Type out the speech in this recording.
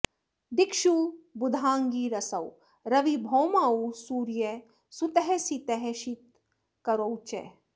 दिक्षु बुधाङ्गिरसौ रवि भौमौ सूर्य सुतः सित शीत करौ च